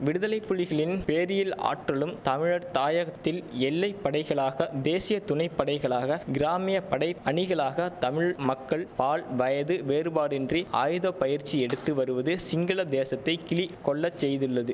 விடுதலை புலிகளின் போரியல் ஆற்றலும் தமிழர் தாயகத்தில் எல்லை படைகளாக தேசிய துணைப்படைகளாக கிராமிய படை அணிகளாக தமிழ் மக்கள் ஆல் பயது வேறுபாடின்றி ஆயுத பயிற்சி எடுத்து வருவது சிங்கள தேசத்தை கிலி கொள்ள செய்துள்ளது